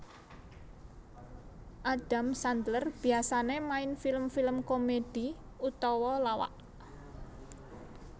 Adam Sandler biasané main film film komedi utawa lawak